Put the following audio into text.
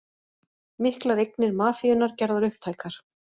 Miklar eignir mafíunnar gerðar upptækar